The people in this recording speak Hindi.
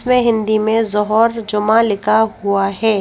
इसमें हिंदी में जोहर जोमा लिखा हुआ है।